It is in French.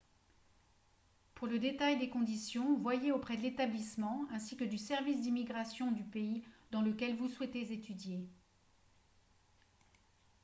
pour le détail des conditions voyez auprès de l'établissement ainsi que du service d'immigration du pays dans lequel vous souhaitez étudier